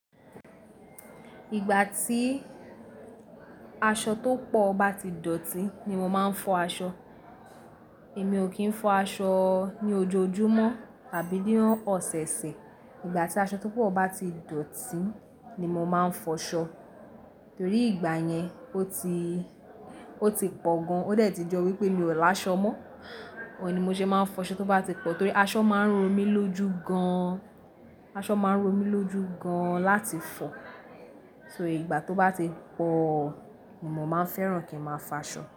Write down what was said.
Ìgbà tí aṣọ tó pọ̀ bá ti dọ̀tí ni mo máa ń fọ aṣọ. Èmi ò kí ń fọ aṣọ ní ojoojúmọ́ tàbí ní ọ̀sẹ̀ẹ̀sẹ̀. Ìgbà tí aṣọ tó pọ̀ bá ti dọ̀tí ni mo máa ń fọ aṣọ. Torí ìgbà yẹn ó ti, ó ti pọ̀ gan-an. Ó dẹ̀ ti jọ wípé mio laaṣọ mọ́. Òun ni mo ṣe máa ń fọ aṣọ tó bá ti pọ̀ torí aṣọ máa ń ro mí lójú gan-an. Aṣọ máa ń ro mí lójú gan-an láti fọ. So ìgbà tó bá ti pọ̀, mo máa ń fẹ́ràn kí ń máa fọ aṣọ.